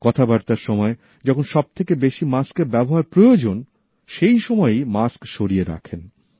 কথাবার্তার সময় যখন সব থেকে বেশি মাস্কের ব্যবহার প্রয়োজন সে সময়ই মাস্ক সরিয়ে রাখেন